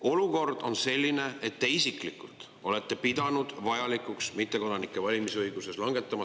Olukord on selline, et te isiklikult olete pidanud vajalikuks langetada sisuline otsus mittekodanikelt valimisõigus ära võtta.